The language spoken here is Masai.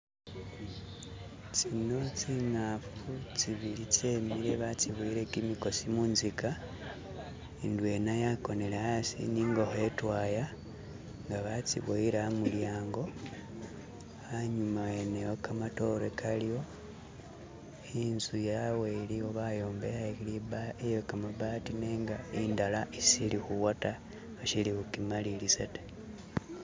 Zino zinkafu zibili zimikile baziboyele migosi munziga ndwena yagonele asi ni ngokho idwaya nga baziboyele amulyango. Anyuma wene wo gamadote galiwo, inzu yawe iliwo bayombekele liba.. iye gamabbati nenga indala ishili kuwa da bashili kujimaliliza da.